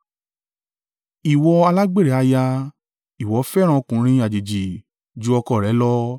“ ‘Ìwọ alágbèrè aya! Ìwọ fẹ́ràn ọkùnrin àjèjì ju ọkọ rẹ lọ!